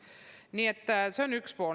Nii et see on üks pool.